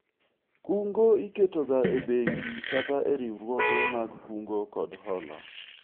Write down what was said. kungo iketo ga e bengi kata e riwruoge mag kungo kod hola